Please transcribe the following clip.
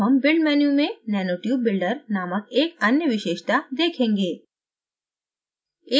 अब हम build menu में nanotube builder नामक एक अन्य विशेषता देखेंगे